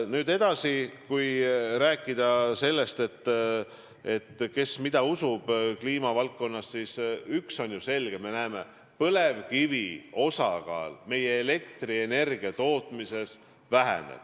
Nüüd edasi, kui rääkida sellest, kes mida usub kliimavaldkonnas, siis üks on ju selge: me näeme, et põlevkivi osakaal meie elektrienergiatootmises väheneb.